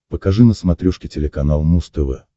покажи на смотрешке телеканал муз тв